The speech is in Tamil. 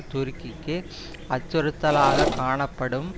துருக்கிக்கு அச்சுறுத்தலாகக் காணப்படும்